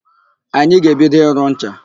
Anyị ga-ebido ịrụ ncha.